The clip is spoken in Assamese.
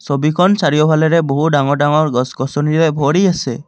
ছবিখন চাৰিওফালেৰে বহু ডাঙৰ ডাঙৰ গছ গছনিৰে ভৰি আছে।